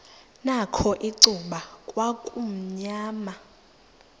nakho icuba kwakumnyama